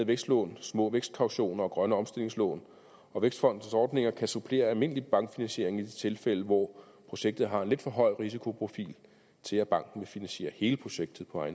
vækstlån små vækstkautioner og grønne omstillingslån vækstfondens ordninger kan supplere almindelig bankfinansiering i de tilfælde hvor projektet har en lidt for høj risikoprofil til at banken vil finansiere hele projektet på